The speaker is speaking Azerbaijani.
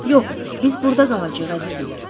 Yox, biz burda qalacağıq, əzizim.